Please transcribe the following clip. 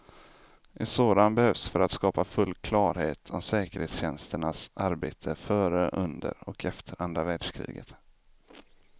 En sådan behövs för att skapa full klarhet om säkerhetstjänsternas arbete före, under och efter andra världskriget.